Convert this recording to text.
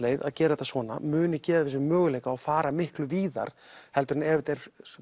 að gera þetta svona muni gefa þessu möguleika að fara miklu víðar heldur en ef þetta er